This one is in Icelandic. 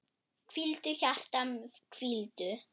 Hvíldu, hjarta, hvíldu.